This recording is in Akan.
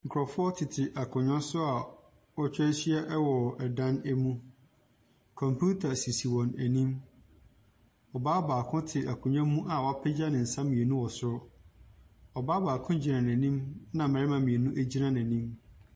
Nkurɔfoɔ tete akonnwa so a wɔatwa ahyia wɔ ɛdan mu. Computer sisi wɔn anim. Ɔbaa baako te akonnwa mu a wɔpagya ne nsa mmienu wɔ soro. Ɔbaa baako gyina n'anim, ɛna mmarima mmienu gyina n'anim.